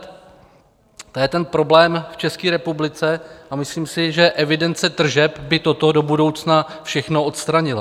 To je ten problém v České republice a myslím si, že evidence tržeb by toto do budoucna všechno odstranila.